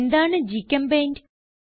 എന്താണ് ഗ്ചെമ്പെയിന്റ്